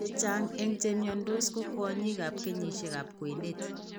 Chechang' eng' chemiondos ko kwonyik ab kenyisiek ab kwenet